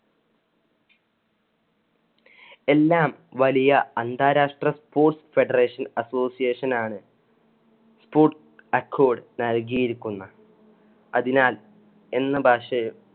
എല്ലാം വലിയ അന്താരാഷ്ട്ര sports federation association ആണ്. sports accord നൽകിയിരിക്കുന്ന അതിനാൽ എന്ന ഭാഷയിൽ